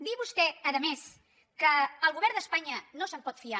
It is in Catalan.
dir vostè a més que del govern d’espanya no se’n pot fiar